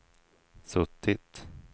suttit